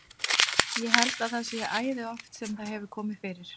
Ég held að það sé æði oft sem það hefur komið fyrir.